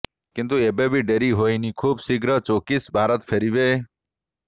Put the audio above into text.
କିନ୍ତୁ ଏବେବି ଡେରି ହୋଇନି ଖୁବ୍ ଶୀଘ୍ର ଚୋକ୍ସି ଭାରତ ଫେରିବେ